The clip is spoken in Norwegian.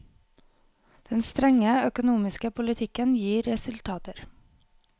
Den strenge økonomiske politikken gir resultater.